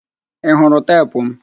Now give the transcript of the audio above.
Ị hụrụ teepu m?